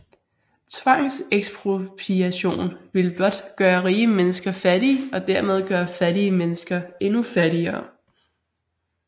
Tvangsekspropriation ville blot gøre rige mennesker fattige og dermed gøre fattige mennesker endnu fattigere